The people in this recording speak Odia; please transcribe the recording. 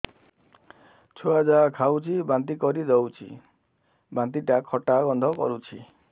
ଛୁଆ ଯାହା ଖାଉଛି ବାନ୍ତି କରିଦଉଛି ବାନ୍ତି ଟା ଖଟା ଗନ୍ଧ କରୁଛି